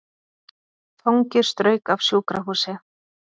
Fangi strauk af sjúkrahúsi